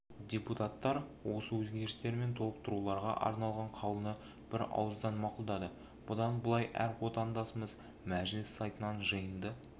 депутаттар осы өзгерістер мен толықтыруларға арналған қаулыны бірауыздан мақұлдады бұдан былай әр отандасымыз мәжіліс сайтынан жиынды